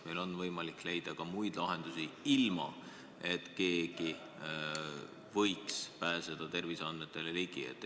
Meil on võimalik leida ka muid lahendusi, ilma et kellelgi võimaldataks terviseandmetele ligi pääseda.